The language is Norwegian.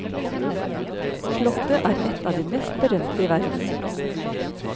Slottet er ett av de mest berømte i verden.